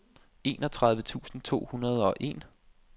enogtredive tusind to hundrede og en